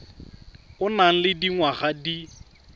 o nang le dingwaga di